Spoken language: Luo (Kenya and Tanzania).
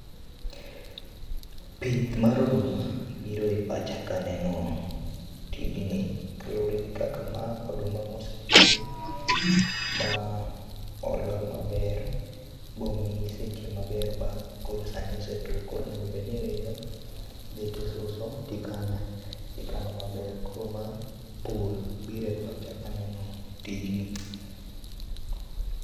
Pith mar oduma biro e pacha kaneno tijni kaluore gi kaka ma oduma mosepidh ma odo maber bomi seche maber ba koro sani osetuo koro onego obed ni iridho ,idhi tisuso tikano, tikano maber. Koro ma pur biro e pacha kaneno tijni